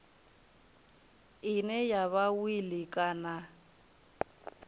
ine ya vha wili kana